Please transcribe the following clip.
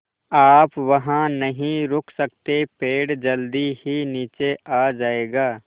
आप वहाँ नहीं रुक सकते पेड़ जल्दी ही नीचे आ जाएगा